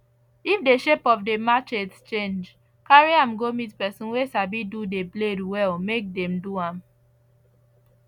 if de shape of the machete change carry am go meet person we sabi do the blade well make them do am